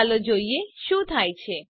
ચાલો જોઈએ શું થાય છે